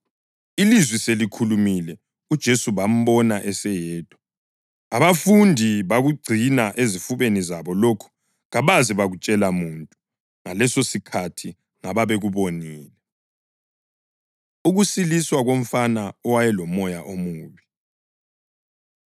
Ilizwi selikhulumile, uJesu bambona eseyedwa. Abafundi bakugcina ezifubeni zabo lokhu kabaze batshela muntu ngalesosikhathi ngababekubonile. Ukusiliswa Komfana Owayelomoya Omubi